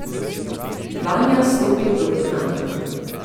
Vanja stopi proti nama.